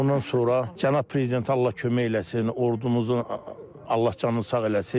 Ondan sonra Cənab Prezidentə Allah kömək eləsin, ordumuzu Allah canını sağ eləsin.